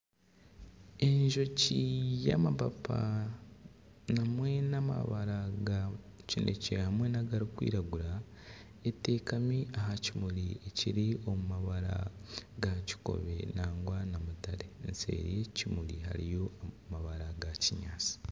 Enjoki y'amapapa hamwe n'amabara ga kinekye hamwe nana agarikwiragura etekami aha kimuri kiri omu mabara ga kikobe nangwa na mutare eseeri y'eki kimuri hariyo amabara ga kinyaatsi